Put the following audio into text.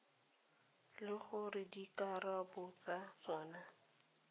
le gore dikarabo tsa tsona